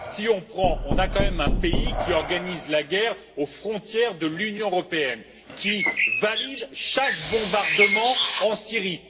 Il s'agit quand même d'un pays qui organise la guerre aux frontières de l'Union européenne et valide chaque bombardement en Syrie.